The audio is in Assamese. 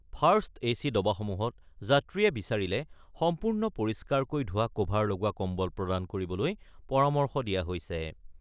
ফাৰ্ষ্ট এ চি ডবাসমূহত যাত্ৰীয়ে বিচাৰিলে সম্পূৰ্ণ পৰিষ্কাৰকৈ ধোৱা ক'ভাৰ লগোৱা কম্বল প্ৰদান কৰিবলৈ পৰামৰ্শ দিয়া হৈছে।